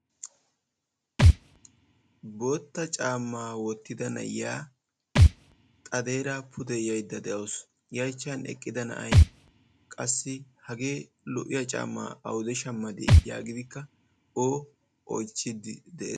Bootta caamma woottida na'iyaa xadeera pude yayda de'awus. I achchan eqqida na'ay hagee lo"iyaa caammaa yaagidikka o oychchiidi de'ees.